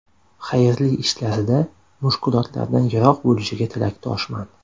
Xayrli ishlarida mushkulotlardan yiroq bo‘lishiga tilakdoshman.